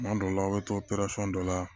Tuma dɔw la aw bɛ to dɔ la